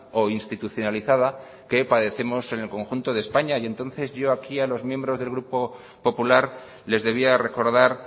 o institucionalizada que padecemos en el conjunto de españa entonces yo aquí a los miembros del partido popular les debía recordar